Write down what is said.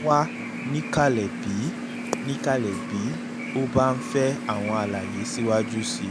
a wà um níkàlẹ̀ bí um níkàlẹ̀ bí o bá ń fẹ́ àwọn àlàyé síwájú sí i